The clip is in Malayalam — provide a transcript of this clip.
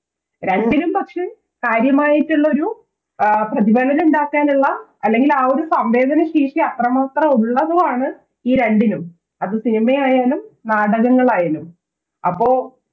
രണ്ടിനും പക്ഷെ കാര്യമായിട്ടുള്ളൊരു പ്രതിഫലനം ഉണ്ടാക്കാനുള്ള അല്ലെങ്കിൽ ആ ഒരു സംവേദന ശേഷി അത്രമാത്രം ഉള്ളതുമാണ് ഈ രണ്ടിലും അത് സിനിമയായാലും നാടകങ്ങളായാലും അപ്പൊ